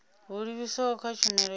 ho livhiswaho kha tshumelo ya